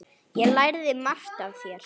Ég lærði margt af þér.